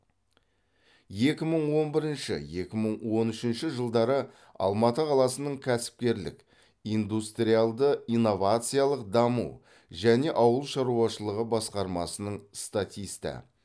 екі мың он бірінші екі мың он үшінші жылдары алматы қаласының кәсіпкерлік индустриалды инновациялық даму және ауыл шаруашылығы басқармасының статисті